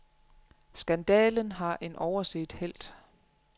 Skandalen har en overset helt.